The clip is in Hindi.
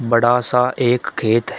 बड़ा सा एक खेत है।